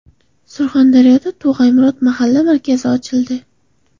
Surxondaryoda Tog‘ay Murod mahalla markazi ochildi.